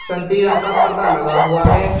संतरी रंग का पर्दा लगा हुआ है।